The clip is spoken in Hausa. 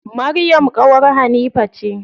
Maryam ƙawar Hanifa ce.